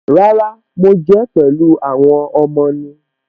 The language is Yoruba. Rárá, mo jẹ́ pẹ̀lú àwọn ọmọ ni.